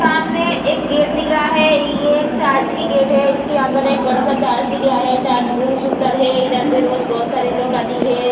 सामने एक गेट दिख रहा है | ये एक चार्ज की गेट है | इसके अंदर एक बड़ा सा चार्ज दिख रहा है | चार्ज बहुत सुन्दर है | इधर बहुत सारे लोग आती है ।